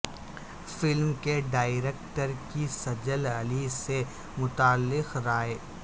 film کے director کی سجل علی سے متعلق رائے